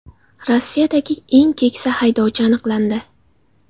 Rossiyadagi eng keksa haydovchi aniqlandi.